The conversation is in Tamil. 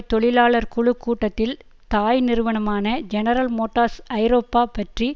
தொழிலாளர் குழு கூட்டத்தில் தாய்நிறுவனமான ஜெனரல் மோட்டார்ஸ் ஐரோப்பா பற்றி